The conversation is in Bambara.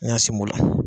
N y'a sen bɔ